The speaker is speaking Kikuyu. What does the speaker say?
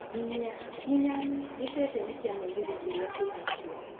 nginyia nginya gĩchecheni ya mũgithi kĩrĩa kĩhakũhĩ